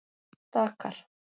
Dakar